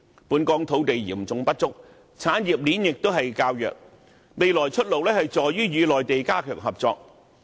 本港土地嚴重不足，產業鏈亦較弱，未來的出路是與內地加強合作。